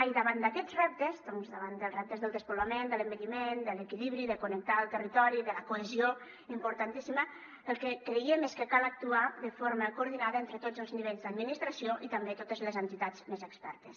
i davant d’aquests reptes doncs davant dels reptes del despoblament de l’envelliment de l’equilibri de connectar el territori i de la cohesió importantíssima el que creiem és que cal actuar de forma coordinada entre tots els nivells d’administració i també totes les entitats més expertes